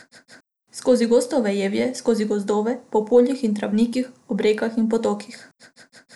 Skozi gosto vejevje, skozi gozdove, po poljih in travnikih, ob rekah in potokih.